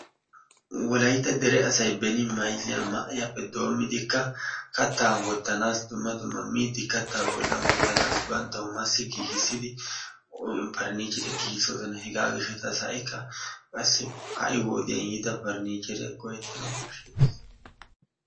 Wolaytta dere asay beeni mayzza ma"eeppe doommidika kattaa wottanaasi dumma dumma miidi kaattaa bollaan wottanasi banttawu massi giigisidi parnicheriyaa giigisoosona. Hegaa giishshatassi ha'ikka qassi ha'i wodiyaan yiida parnicheriyaa go"ettanawu koshshettees.